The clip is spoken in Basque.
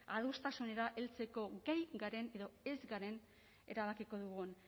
adostasunera heltzeko gai garen edo ez garen erabakiko dugun